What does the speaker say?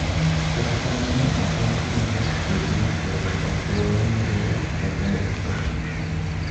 Kata kamano ok en gima ber tiyo gi nyasore e aluora marua kata use.